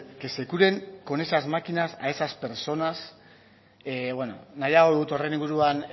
que se curen con esas máquinas a esas personas nahiago dut horren inguruan